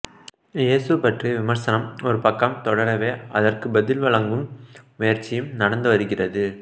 இயேசு பற்றிய விமர்சனம் ஒருபக்கம் தொடரவே அதற்குப் பதில் வழங்கும் முயற்சியும் நடந்துவருகிறது